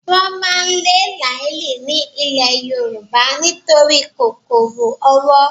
Wọ́n máa lé làálì ní ilè Yorùbá nítorí kòkòrò owó